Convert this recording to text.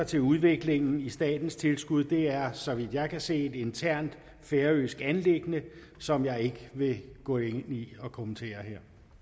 til udviklingen i statens tilskud er så vidt jeg kan se et internt færøsk anliggende som jeg ikke vil gå ind i at kommentere